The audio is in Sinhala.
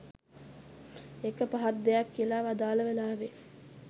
ඒක පහත් දෙයක් කියලා වදාළ වෙලාවේ